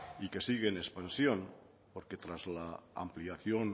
y que sigue en expansión porque tras la ampliación